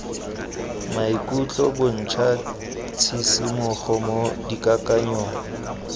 maikutlo bontsha tshisimogo mo dikakanyong